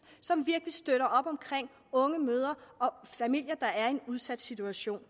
som virkelig støtter op om unge mødre og familier der er i en udsat situation